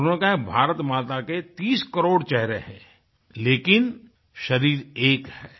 और उन्होंने कहा है भारत माता के 30 करोड़ चेहरे हैं लेकिन शरीर एक है